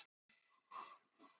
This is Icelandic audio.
Það gekk ekkert upp hjá okkur.